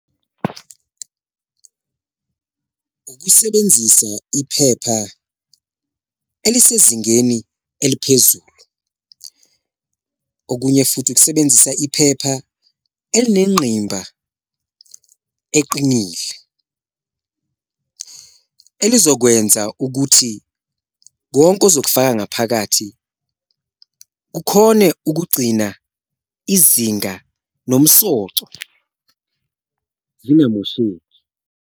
Ukusebenzisa iphepha elisezingeni eliphezulu, okunye futhi ukusebenzisa iphepha elinengqimba eqinile elizokwenza ukuthi konke ozokufaka ngaphakathi kukhone ukugcina izinga nomsoco zingamosheki.